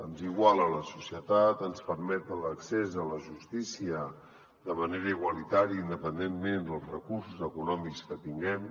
ens iguala a la societat ens permet l’accés a la justícia de manera igualitària independentment dels recursos econòmics que tinguem